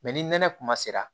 ni nɛnɛ kuma sera